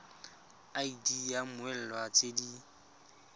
id ya mmoelwa tse di